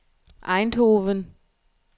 Eindhoven